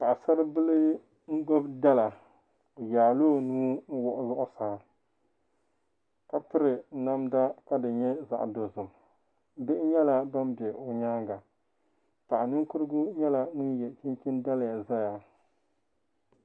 Paɣasaribili n gbubi dala o zaŋla o nuu wuɣi zuɣusaa ka piri namda ka di nyɛ zaɣ dozim bihi nyɛla bin bɛ o nyaanga paɣa ninkurigu nyɛla ŋun yɛ chinchin daliyq ʒɛya